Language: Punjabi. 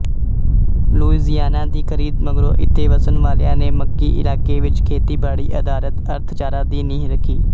ਲੂਈਜ਼ੀਆਨਾ ਦੀ ਖ਼ਰੀਦ ਮਗਰੋਂ ਇੱਥੇ ਵਸਣ ਵਾਲਿਆਂ ਨੇ ਮੱਕੀਇਲਾਕੇ ਵਿੱਚ ਖੇਤੀਬਾੜੀਅਧਾਰਤ ਅਰਥਚਾਰਾ ਦੀ ਨੀਂਹ ਰੱਖੀ